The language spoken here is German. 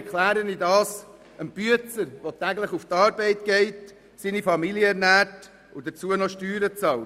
Wie soll man das einem Arbeiter erklären, der täglich zur Arbeit geht, seine Familie ernährt und dazu noch Steuern bezahlt?